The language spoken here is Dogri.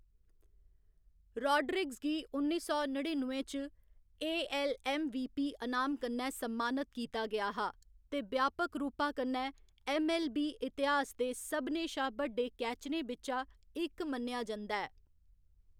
राड्रीगेज गी उन्नी सौ नड़िनुए च A. L. M. V. P. अनाम कन्नै सम्मानत कीता गेआ हा ते ब्यापक रूपा कन्नै ऐम्म. ऐल्ल. बी. इतिहास दे सभनें शा बड्डे कैचरें बिच्चा इक मन्नेआ जंदा ऐ।